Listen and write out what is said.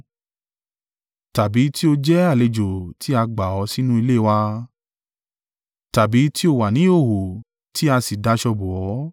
Tàbí tí o jẹ́ àlejò tí a gbà ó sínú ilé wa? Tàbí tí o wà ní ìhòhò, tí a sì daṣọ bò ọ́?